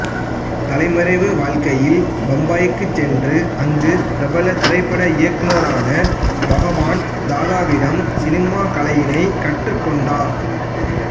தலைமறைவு வாழ்க்கையில் பம்பாய்க்கு சென்று அங்கு பிரபல திரைப்பட இயக்குநரான பகவான் தாதாவிடம் சினிமா கலையினைக் கற்றுக்கொண்டார்